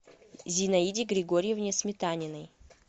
зинаиде григорьевне сметаниной